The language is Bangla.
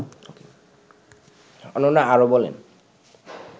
অনন্যা আরও বলেন